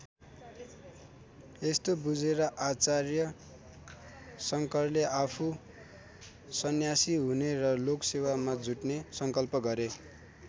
यस्तो बुझेर आचार्य शङ्करले आफू सन्यासी हुने र लोकसेवामा जुट्ने सङ्कल्प गरे।